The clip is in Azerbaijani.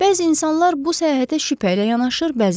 Bəzi insanlar bu səyahətə şübhə ilə yanaşır,